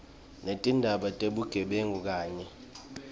netindzaba tebugebengu kanye